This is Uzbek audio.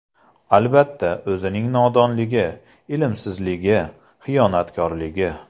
Albatta, o‘zining nodonligi, ilmsizligi, xiyonatkorligi.